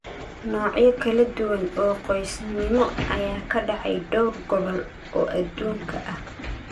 Noocyo kala duwan oo qoysnimo ayaa ka dhacay dhowr gobol oo adduunka ah.